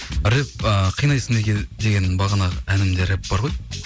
рэп ыыы қинайсың деген бағанағы әнімде рэп бар ғой